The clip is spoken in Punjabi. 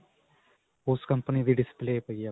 ਓਸ company ਦੀ display ਪਈ ਹੈ ਆਪਣੇ ਕੋਲ?